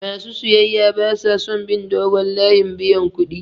Ma su siyayya ba sa son biyan dogon layin buyan kuɗi.